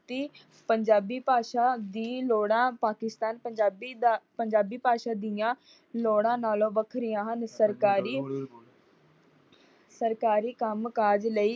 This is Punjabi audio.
ਪੰਜਾਬੀ ਭਾਸ਼ਾ ਦੀ ਲੋੜਾਂ ਪਾਕਿਸਤਾਨ ਪੰਜਾਬੀ ਦਾ ਪੰਜਾਬੀ ਭਾਸ਼ਾ ਦੀਆਂ ਲੋੜਾਂ ਨਾਲੋਂ ਵੱਖਰੀਆਂ ਹਨ। ਸਰਕਾਰੀ ਸਰਕਾਰੀ ਕੰਮ-ਕਾਜ ਲਈ